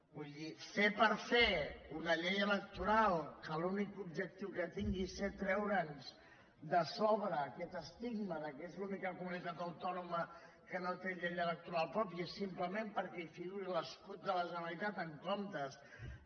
vull dir fer per fer una llei electoral que l’únic objectiu que tingui sigui treure’ns de sobre aquest estigma que és l’única comunitat autònoma que no té llei electoral pròpia simplement perquè hi figuri l’escut de la generalitat en comptes de